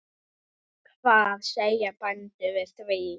Hvað segja bændur við því?